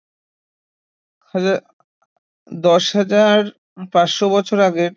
হাজার দশ হাজার পাঁচশ বছর আগে